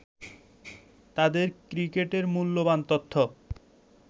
তাদের ক্রিকেটের মূল্যবান তথ্য